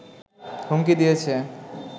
হুমকি দিয়েছে